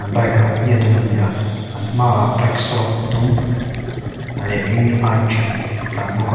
baik rawng hi a dum a ni a an hmaah reksaw dum leh eng a inṭial a tlân bawk a.